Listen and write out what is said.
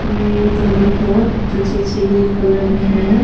ये टेबल की कलर में है।